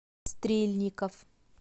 стрельников